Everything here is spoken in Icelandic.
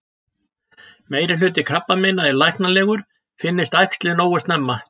Meirihluti krabbameina er læknanlegur, finnist æxlið nógu snemma.